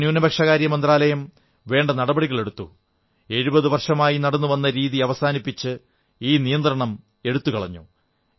നമ്മുടെ ന്യൂനപക്ഷ കാര്യ മന്ത്രാലയം വേണ്ട നടപടികളെടുത്തു എഴുപതു വർഷമായി നടന്നു വരുന്ന രീതി അവസാനിപ്പിച്ച് ഈ നിയന്ത്രണം എടുത്തുകളഞ്ഞു